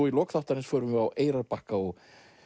í lok þáttarins förum við á Eyrarbakka og